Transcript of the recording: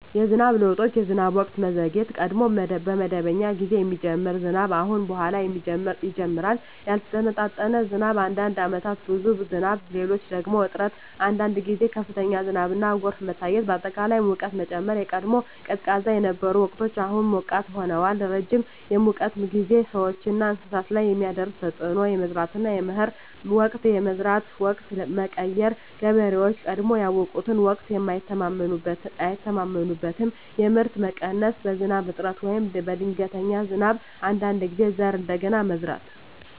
የዝናብ ለውጦች የዝናብ ወቅት መዘግየት – ቀድሞ በመደበኛ ጊዜ የሚጀምር ዝናብ አሁን በኋላ ይጀምራል ያልተመጣጠነ ዝናብ – አንዳንድ ዓመታት ብዙ ዝናብ፣ ሌሎች ደግሞ እጥረት አንዳንድ ጊዜ ከፍተኛ ዝናብና ጎርፍ መታየት አጠቃላይ ሙቀት መጨመር – ቀድሞ ቀዝቃዛ የነበሩ ወቅቶች አሁን ሞቃት ሆነዋል ረጅም የሙቀት ጊዜ – ሰዎችና እንስሳት ላይ የሚያደርስ ተፅዕኖ የመዝራትና የመከር ወቅት የመዝራት ወቅት መቀየር – ገበሬዎች ቀድሞ ያውቁትን ወቅት አይተማመኑበትም የምርት መቀነስ – በዝናብ እጥረት ወይም በድንገተኛ ዝናብ አንዳንድ ጊዜ ዘር እንደገና መዝራት